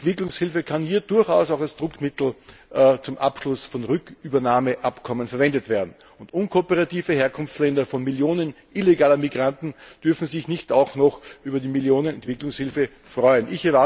Entwicklungshilfe kann hier durchaus auch als Druckmittel zum Abschluss von Rückübernahmeabkommen verwendet werden. Unkooperative Herkunftsländer von Millionen illegaler Migranten dürfen sich nicht auch noch über Millionen an Entwicklungshilfe freuen.